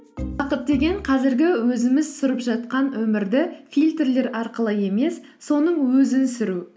бақыт деген қазіргі өзіміз сүріп жатқан өмірді фильтлер арқылы емес соның өзін сүру